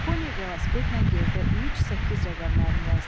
Poni velosipedlə yerdə üç, səkkiz rəqəmlərini yazdı.